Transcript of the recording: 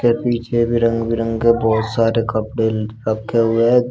इसके पीछे भी रंग बिरंगे बहोत सारे कपड़े रखे हुए हैं दो--